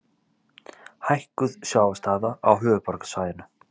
Hækkuð sjávarstaða á höfuðborgarsvæðinu.